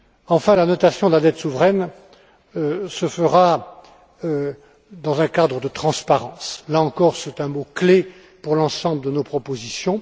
Enfin, la notation de la dette souveraine se fera dans un cadre de transparence. Là encore, c'est un mot clé pour l'ensemble de nos propositions.